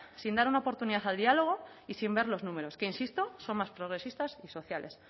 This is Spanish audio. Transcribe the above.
sin dar una oportunidad al diálogo y sin ver los números que insisto son más progresistas y sociales